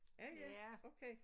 Ja ja okay